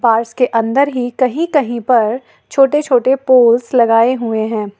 के अंदर ही कहीं कहीं पर छोटे छोटे पोल्स लगाए हुए हैं।